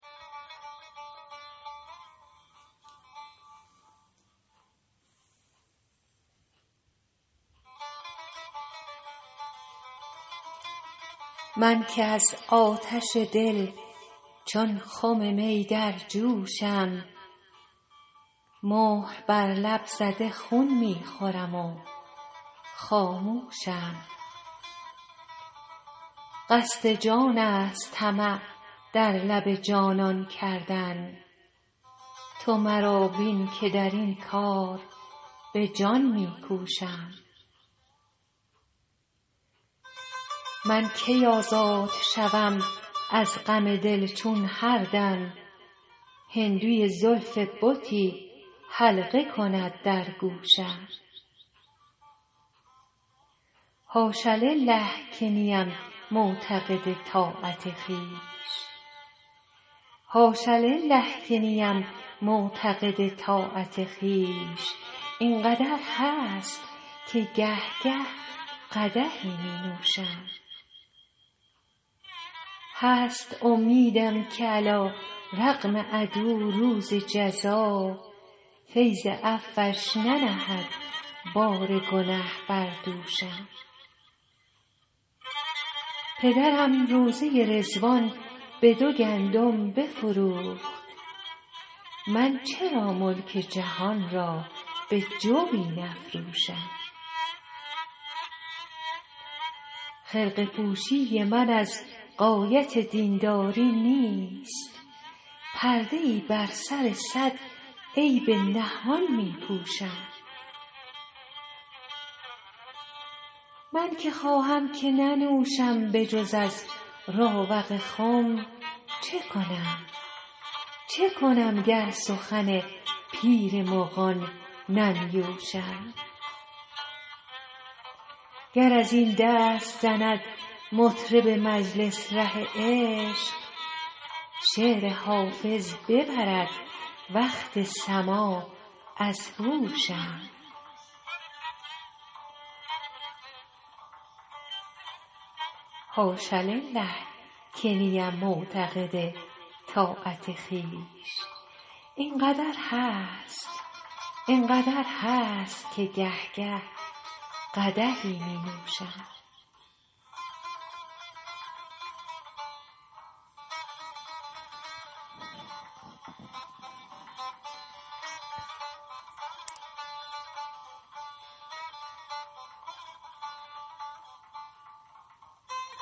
من که از آتش دل چون خم می در جوشم مهر بر لب زده خون می خورم و خاموشم قصد جان است طمع در لب جانان کردن تو مرا بین که در این کار به جان می کوشم من کی آزاد شوم از غم دل چون هر دم هندوی زلف بتی حلقه کند در گوشم حاش لله که نیم معتقد طاعت خویش این قدر هست که گه گه قدحی می نوشم هست امیدم که علیرغم عدو روز جزا فیض عفوش ننهد بار گنه بر دوشم پدرم روضه رضوان به دو گندم بفروخت من چرا ملک جهان را به جوی نفروشم خرقه پوشی من از غایت دین داری نیست پرده ای بر سر صد عیب نهان می پوشم من که خواهم که ننوشم به جز از راوق خم چه کنم گر سخن پیر مغان ننیوشم گر از این دست زند مطرب مجلس ره عشق شعر حافظ ببرد وقت سماع از هوشم